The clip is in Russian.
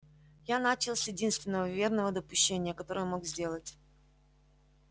я начал с единственного верного допущения которое мог сделать